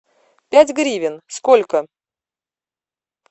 пять гривен сколько